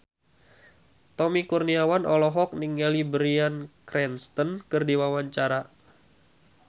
Tommy Kurniawan olohok ningali Bryan Cranston keur diwawancara